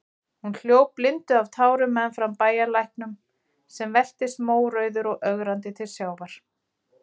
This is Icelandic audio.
Hún hljóp blinduð af tárum meðfram bæjarlæknum, sem veltist mórauður og ögrandi til sjávar.